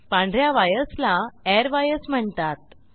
पांढ या वायर्सला एअरवायर्स म्हणतात